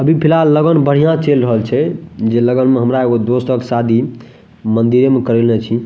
अभी फिलहाल लगन बढ़िया चल रहल छै जे लगन में हमरा एगो दोस्ता के शादी मंदिरे में करैएले छी।